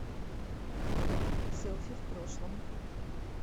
селфи в прошлом